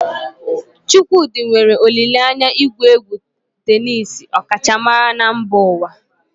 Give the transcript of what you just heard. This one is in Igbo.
Chukwudi nwere olile anya igwu egwu tenisii ọkachamara na mba ụwa.